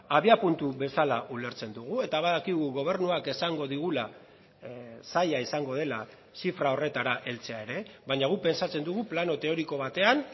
abiapuntu bezala ulertzen dugu eta badakigu gobernuak esango digula zaila izango dela zifra horretara heltzea ere baina guk pentsatzen dugu plano teoriko batean